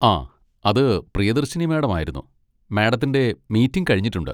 ആ, അത് പ്രിയദർശിനി മാഡം ആയിരുന്നു, മാഡത്തിൻ്റെ മീറ്റിങ് കഴിഞ്ഞിട്ടുണ്ട്